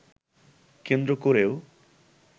কেন্দ্র করেও